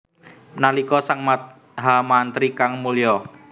Nalika sang mahamantri kang mulya